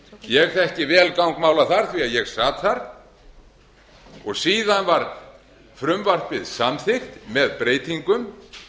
ég þekki vel gang mála þar því að ég sat þar og síðan var frumvarpið samþykkt með breytingum